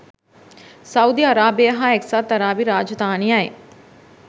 Saudi අරාබිය සහ එක්සත් අරාබි රාජධානියයි.